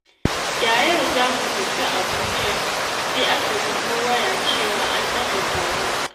Da yau za mu tafi Abuja, sai aka bugo waya cewa an ɗaga taron.